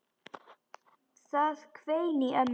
Það hvein í ömmu.